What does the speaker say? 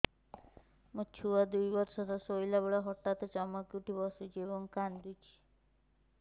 ମୋ ଛୁଆ ଦୁଇ ବର୍ଷର ଶୋଇଲା ବେଳେ ହଠାତ୍ ଚମକି ଉଠି ବସୁଛି ଏବଂ କାଂଦୁଛି